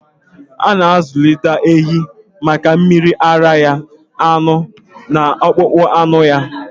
A na-azụlite ahịhịa maka mmiri ara ehi, anụ, na akpụkpọ anụ ha.